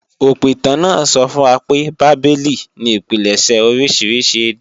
Òpìtàn náà sọ fún wa pé Bábélì ni ìpilẹ̀ṣẹ̀ oríṣiríṣi èdè